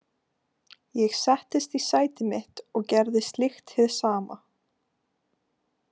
Ég settist í sæti mitt og gerði slíkt hið sama.